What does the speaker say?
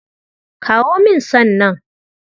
Kawo min san nan.